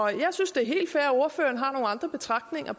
jeg synes det er helt fair at ordføreren har nogle andre betragtninger